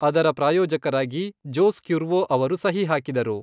ಅದರ ಪ್ರಾಯೋಜಕರಾಗಿ Jose Cuervo ಅವರು ಸಹಿ ಹಾಕಿದರು.